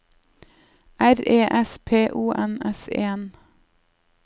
R E S P O N S E N